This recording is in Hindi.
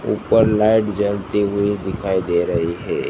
ऊपर लाइट जलती हुई दिखाई दे रही है।